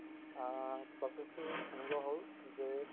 আ process তো এনেকুৱা হল যে